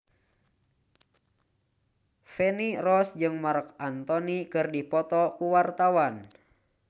Feni Rose jeung Marc Anthony keur dipoto ku wartawan